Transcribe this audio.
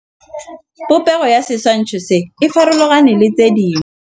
Popêgo ya setshwantshô se, e farologane le tse dingwe.